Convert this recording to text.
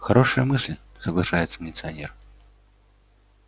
хорошая мысль соглашается милиционер